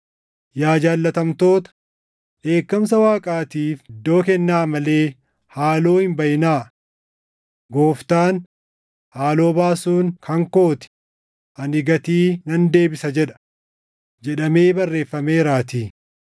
Yaa jaallatamtoota, dheekkamsa Waaqaatiif iddoo kennaa malee haaloo hin baʼinaa; Gooftaan, “Haaloo baasuun kan koo ti; ani gatii nan deebisa” + 12:19 \+xt KeD 32:35\+xt* jedha, jedhamee barreeffameeraatii.